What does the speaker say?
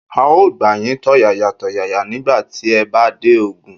A ó gbà yín tọ̀yàyàtọ̀yàyà nígbà tí ẹ bá dé Ogun.